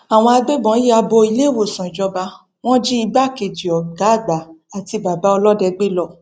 àwọn agbébọn ya bo iléèwòsàn ìjọba wọn jí igbákejì ọgá àgbà àti bàbá ọlọdẹ gbé lọ